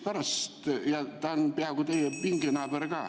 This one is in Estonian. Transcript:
Ta on praegu teie pinginaaber ka.